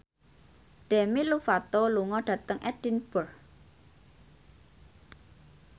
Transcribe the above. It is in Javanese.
Demi Lovato lunga dhateng Edinburgh